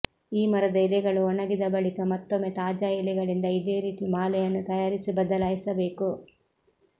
ಈ ಮರದ ಎಲೆಗಳು ಒಣಗಿದ ಬಳಿಕ ಮತ್ತೊಮ್ಮೆ ತಾಜಾ ಎಲೆಗಳಿಂದ ಇದೇ ರೀತಿ ಮಾಲೆಯನ್ನು ತಯಾರಿಸಿ ಬದಲಾಯಿಸಬೇಕು